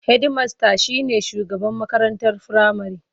Hedimasta shi ne shugaban makarantar firamare.